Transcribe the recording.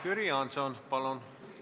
Jüri Jaanson, palun!